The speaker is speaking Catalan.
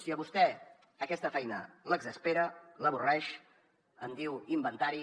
si a vostè aquesta feina l’exaspera l’avorreix en diu inventari